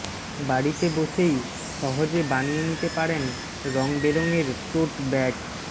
বাড়িতে বসেই সহজে বানিয়ে নিতে পারেন রংবেরঙের টোট ব্যাগ